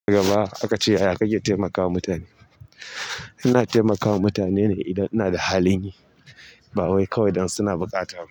Gaba aka ce yaya kake taimakawa mutane? Ina taimakawa mutane ne idan ina da halin yi ba wai kawai dan suna buƙata ba.